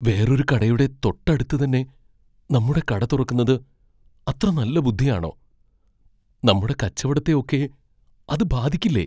വേറൊരു കടയുടെ തൊട്ട അടുത്തുതന്നെ നമ്മുടെ കട തുറക്കുന്നത് അത്ര നല്ല ബുദ്ധിയാണോ? നമ്മുടെ കച്ചവടത്തെ ഒക്കെ അത് ബാധിക്കില്ലേ?